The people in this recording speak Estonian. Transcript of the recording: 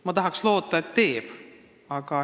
Ma tahaks loota, et teevad.